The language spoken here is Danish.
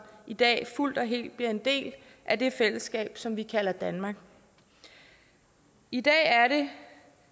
i dag fuldt og helt bliver en del af det fællesskab som vi kalder danmark i dag er det